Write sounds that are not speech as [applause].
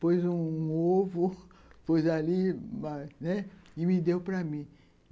Pôs um ovo [laughs] pôs ali e me deu para mim.